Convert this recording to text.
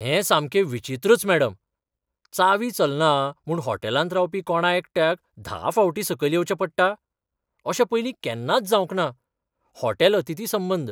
हें सामकें विचित्रच, मॅडम. चावी चलना म्हूण होटॅलांत रावपी कोणा एकट्याक धा फावटीं सकयल येवचें पडटा? अशें पयलीं केन्नाच जावंक ना. हॉटेल अतिथी संबंद